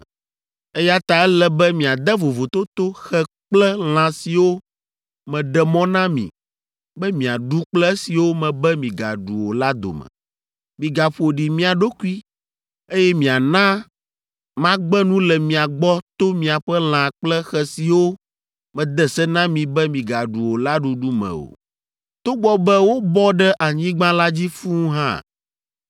“ ‘Eya ta ele be miade vovototo xe kple lã siwo meɖe mɔ na mi be miaɖu kple esiwo mebe migaɖu o la dome. Migaƒo ɖi mia ɖokui, eye miana magbe nu le mia gbɔ to miaƒe lã kple xe siwo mede se na mi be migaɖu o la ɖuɖu me o, togbɔ be wobɔ ɖe anyigba la dzi fũu hã.